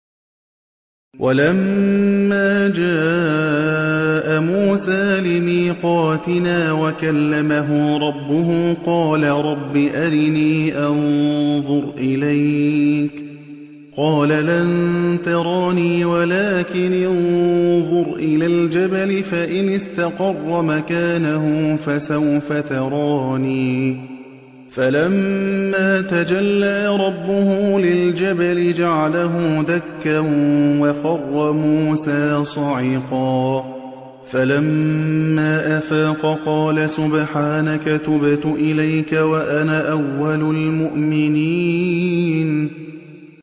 وَلَمَّا جَاءَ مُوسَىٰ لِمِيقَاتِنَا وَكَلَّمَهُ رَبُّهُ قَالَ رَبِّ أَرِنِي أَنظُرْ إِلَيْكَ ۚ قَالَ لَن تَرَانِي وَلَٰكِنِ انظُرْ إِلَى الْجَبَلِ فَإِنِ اسْتَقَرَّ مَكَانَهُ فَسَوْفَ تَرَانِي ۚ فَلَمَّا تَجَلَّىٰ رَبُّهُ لِلْجَبَلِ جَعَلَهُ دَكًّا وَخَرَّ مُوسَىٰ صَعِقًا ۚ فَلَمَّا أَفَاقَ قَالَ سُبْحَانَكَ تُبْتُ إِلَيْكَ وَأَنَا أَوَّلُ الْمُؤْمِنِينَ